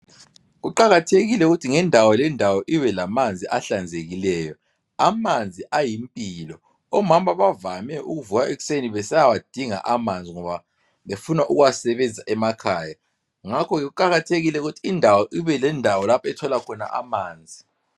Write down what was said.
Kuqakathekile ukuthi ngendawo lendawo ibe lamanzi ahlanzekileyo. Amanzi ayimpilo. Omama bavame ukuvuka ekuseni besiyawadinga amanzi ngoba befuna ukuwasebenzisa emakhaya ngakho ke kuqakathekile ukuthi indawo ibelendawo lapho ethola khona amanzi.